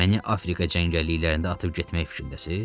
Məni Afrika cəngəllikliyində atıb getmək fikrindəsiz?